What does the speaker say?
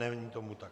Není tomu tak.